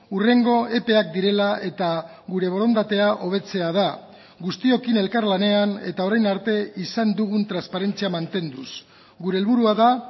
hurrengo epeak direla eta gure borondatea hobetzea da guztiokin elkarlanean eta orain arte izan dugun transparentzia mantenduz gure helburua da